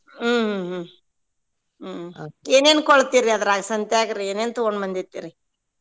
ಹ್ಮ್ ಹ್ಮ್ ಹ್ಮ್ ಹ್ಮ್ ಏನೇನ್ ಕೊಳ್ಳತೆರಿ ಅದ್ರಾಗ ಸಂತ್ಯಾಗ್ರಿ ಏನೇನ್ ತುಗೊಂಡ್ ಬಂದಿರ್ತೇರಿ?